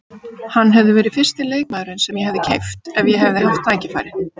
Hann hefði verið fyrsti leikmaðurinn sem ég hefði keypt ef ég hefði haft tækifærið.